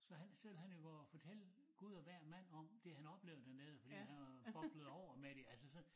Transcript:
Så han selv han jo går og fortæller Gud og hver mand om det han oplevede dernede fordi han var boblet over med det altså så